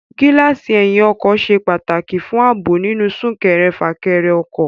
Gíláàsì ẹyìn ọkọ̀ ṣe pàtàkì fún ààbò nínú súnkẹrẹ- fàkẹrẹ ọkọ̀